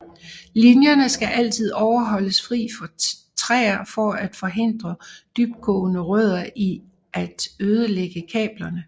Linjerne skal altid holdes fri for træer for at forhindre dybtgående rødder i at ødelægge kablerne